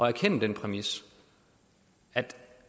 erkende den præmis at det